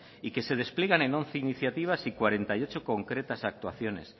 y que se despliegan en once iniciativas y cuarenta y ocho concretas actuaciones